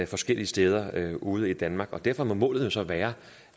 forskellige steder ude i danmark derfor må målet jo så være